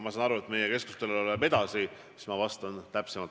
Ma saan aru, et meie keskustelu läheb edasi, siis ma vastan täpsemalt.